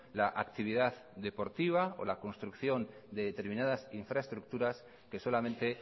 la actividad deportiva o la construcción de determinadas infraestructuras que solamente